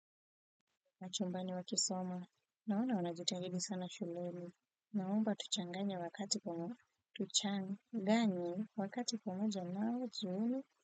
Na chumbani wakisoma. Naona wanajitahidi sana shuleni. Naomba tuchanganye wakati ponoja. Tuchanganye wakati ponoja nao jioni.